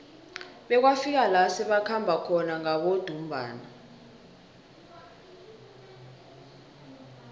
bekwafika la sebakhamba khona ngabodumbana